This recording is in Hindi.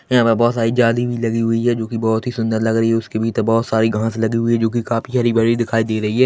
यहां पर बहुत सारी जाली भी लगी हुई है जो की बहुत ही सुंदर लग रही है उसके भीतर बहुत सारी घास लगी हुई है जो की काफी हरी भरी दिखाई दे रही है।